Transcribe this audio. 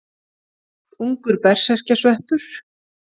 Ungur berserkjasveppur.